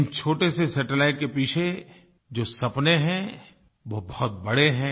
इन छोटे से सैटेलाइट के पीछे जो सपने हैं वो बहुत बड़े हैं